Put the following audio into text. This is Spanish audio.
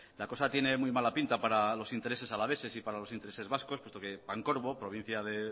la cosa tiene muy mala pinta para los intereses alaveses y para los intereses vascos puesto que pancorbo provincia de